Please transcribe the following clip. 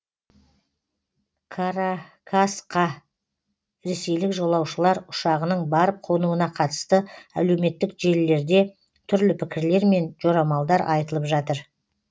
каракасқа ресейлік жолаушылар ұшағының барып қонуына қатысты әлеуметтік желілерде түрлі пікірлер мен жорамалдар айтылып жатыр